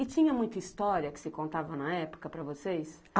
E tinha muita história que se contava na época para vocês?